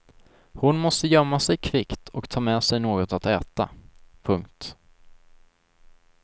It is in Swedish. Hon måste gömma sig kvickt och ta med sig något att äta. punkt